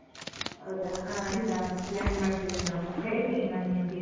ಹೌದಾ? ಆಯ್ತ. plan ಮಾಡ್ತೇವೆ ನಾವು. ಹೇಳ್ತೇನ್ ನಾನ್ ನಿಮ್ಗೆ.